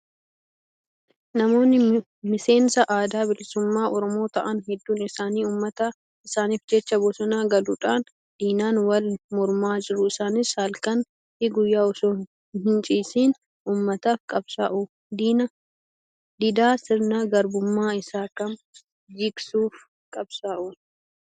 Namoonni miseensa adda bilisummaa oromoo ta'an hedduun isaanii uummata isaaniif jecha bosona galuudhaan diinaan wal mormaa jiru. Isaanis halkanii fi guyyaa osoo hin ciisiin uummataaf qabsaa'u. Diddaa sirna garbummaa isa kam jigsuuf qabsaa'u?